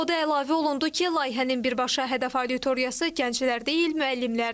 O da əlavə olundu ki, layihənin birbaşa hədəf auditoriyası gənclər deyil, müəllimlərdir.